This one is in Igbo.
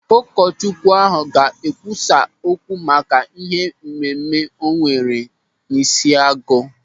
Ụkọchukwu ahụ ga-ekwusa okwu maka ihe mmemme onwere n'Ishiagụ.